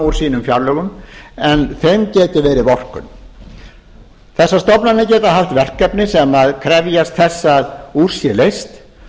úr sínum fjárlögum en þeim getur verið vorkunn þessar stofnanir geta haft verkefni sem krefjast þess að úr sé leyst